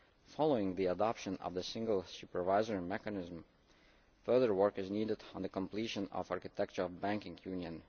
Following the adoption of the single supervisory mechanism, further work is needed on the completion of the architecture of the banking union.